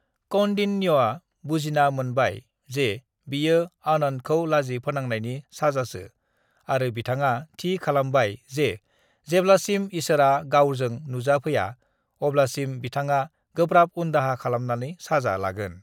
"""कौंडिन्यया बुजिना मोनबाय जे बियो """"आनंत"""" खौ लाजि फोनांनायनि साजासो आरो बिथाङा थि खालामबाय जे जेब्लासिम ईसोरा गावजों नुजा फैया अब्लासिम बिथङा गोब्राब उनदाहा खालामनानै साजा लागोन ।"""